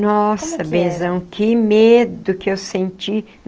Nossa, benzão, que medo que eu senti.